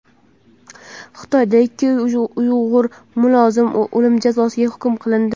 Xitoyda ikki uyg‘ur mulozim o‘lim jazosiga hukm qilindi.